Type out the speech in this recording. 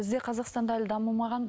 бізде қазақстанда әлі дамымаған